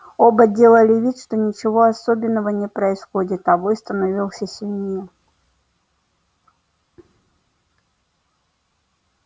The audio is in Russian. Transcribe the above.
оба делали вид что ничего особенного не происходит а вой становился сильнее